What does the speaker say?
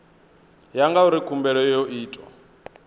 ya ngauri khumbelo yo itwa